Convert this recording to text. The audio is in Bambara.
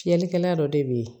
Fiyɛlikɛla dɔ de bɛ yen